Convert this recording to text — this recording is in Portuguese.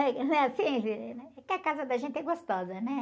Não é assim, gente? É que a casa da gente é gostosa, né?